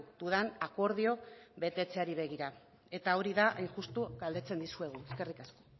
dudan akordio betetzeari begir a eta hori da hain justu galdetzen dizueguna eskerrik asko